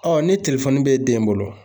ni telefoni b'e den bolo ,